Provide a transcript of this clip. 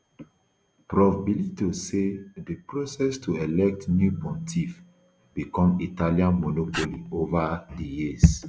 prof bellitto say di process to elect new pontiff become italian monopoly over di years